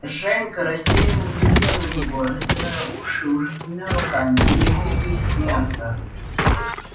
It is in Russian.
женька растерянно глядел на него растирая уши уже двумя руками и не двигаясь с места